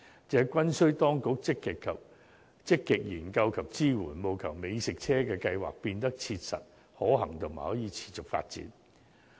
這均需當局積極研究及支援，務求美食車計劃變得切實可行及可持續發展。